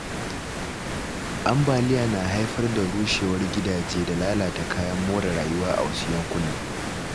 Ambaliya na haifar da rushewar gidaje da lalata kayan more rayuwa a wasu yankunan.